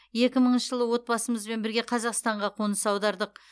екі мыңыншы жылы отбасымызбен бірге қазақстанға қоныс аудардық